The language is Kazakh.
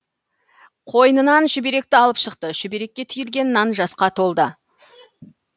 қойнынан шүберекті алып шықты шүберекке түйілген нан жасқа толды